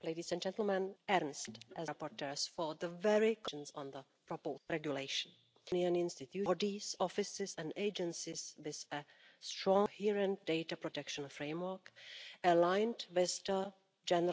Security and Defence Policy from the scope of the regulation, as this creates a gap which will need to be filled with additional legislative instruments.